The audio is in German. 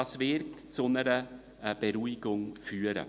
Das wird zu einer Beruhigung führen.